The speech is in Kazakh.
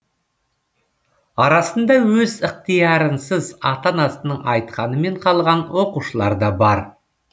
арасында өз ықтиярынсыз ата анасының айтқанымен қалған оқушылар да бар